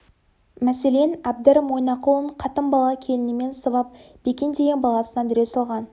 мәселен әбдір мойнақұлын қатын бала келінімен сабап бекен деген баласына дүре салған